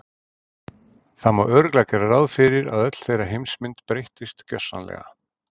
Það má örugglega gera ráð fyrir að öll þeirra heimsmynd breyttist gjörsamlega.